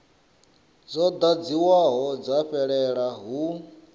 dzo ḓadziwaho dza fhelela hu